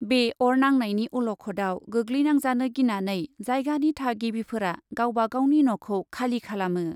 बे अर नांनायनि अलखदाव गोग्लैनांजानो गिनानै जायगानि थागिबिफोरा गावबा गावनि न'खौ खालि खालामो।